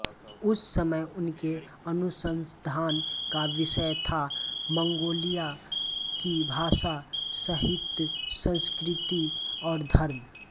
उस समय उनके अनुसंधान का विषय था मंगोलिया की भाषा साहित्य संस्कृति और धर्म